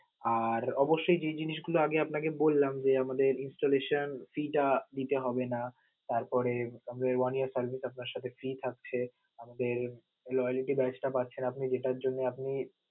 আর অবশ্যই যে জিনিস গুলো আমি আপনাকে বললাম যে, আমাদের installation fee টা দিতে হবে না, তারপরে one year service আপনার সাথে free থাকছে, loyalty badge টা পাচ্ছেন,